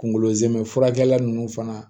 Kunkolo zɛmɛ furakɛla nunnu fana